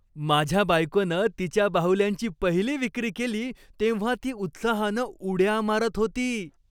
माझ्या बायकोनं तिच्या बाहुल्यांची पहिली विक्री केली तेव्हा ती उत्साहानं उड्या मारत होती.